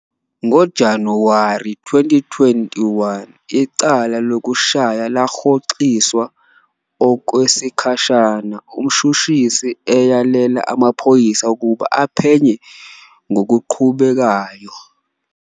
NgoJanuwari 2021, icala lokushaya lahoxiswa okwesikhashana umshushisi eyalela amaphoyisa ukuba aphenye ngokuqhubekayo.